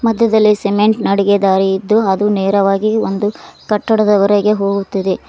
ಮದ್ಯೆದಲ್ಲೇ cement ನಡುಗೆ ದಾರಿ ಇದ್ದು ಅದು ನೇರವಾಗಿ ಒಂದು ಕಟ್ಟಡದ ವರೆಗೆ ಹೋಗುತ್ತಿದೆ.